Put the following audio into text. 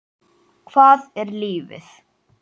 Hvað er lífið?